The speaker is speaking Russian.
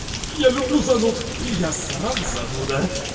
я люблю зануд я сам зануда